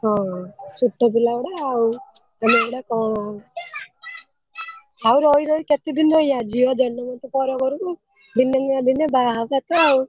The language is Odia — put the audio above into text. ହଁ ଛୋଟ ପିଲାଗୁଡା ଆଉ ଆଉ ରହି ରହି କେତେଦିନ ରହିଆ ଝି ଜନ୍ମ ତ ପରଘରକୁ ଦିନେ ନା ଦିନେ ବାହାହବା ତ ଆଉ।